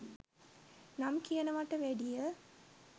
නම් කියනවට වැඩිය